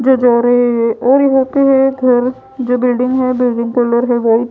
जो जा रहे हैं और यहां पे है एक घर जो बिल्डिंग है। बिल्डिंग कलर है व्हाइट ।